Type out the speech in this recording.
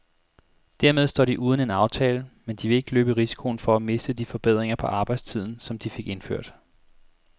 Dermed står de uden en aftale, men de vil ikke løbe risikoen for at miste de forbedringer på arbejdstiden, som de fik indført.